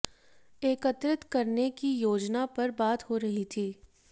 एकत्रित करने की योजना पर बात हो रही थी